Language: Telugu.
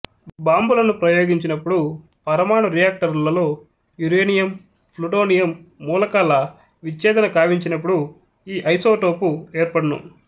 భాంబులను ప్రయోగించినపుడు పరమాణు రియాక్టరులలో యురేనియం ప్లూటోనియం మూలకాల విచ్చేధన కావించినపుడు ఈ ఐసోటోపు ఏర్పడును